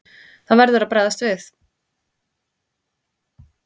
Það verður að bregðast við.